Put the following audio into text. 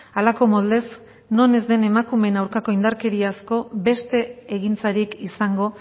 halako moldez non ez den emakumeen aurkako indarkeriazko beste egintzarik izango